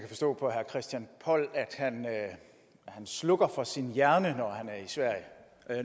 christian poll at han slukker for sin hjerne